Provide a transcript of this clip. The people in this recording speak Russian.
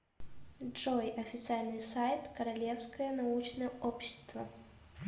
джой официальный сайт королевское научное общество